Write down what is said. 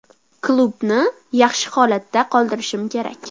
Klubni yaxshi holatda qoldirishim kerak.